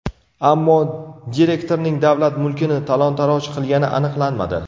Ammo direktorning davlat mulkini talon-taroj qilgani aniqlanmadi.